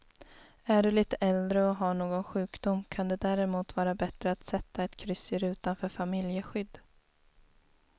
Är du lite äldre och har någon sjukdom kan det därmot vara bättre att sätta ett kryss i rutan för familjeskydd.